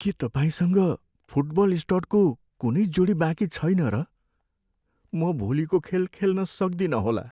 के तपाईँसँग फुटबल स्टडको कुनै जोडी बाँकी छैन र? म भोलिको खेल खेल्न सक्दिनँ होला।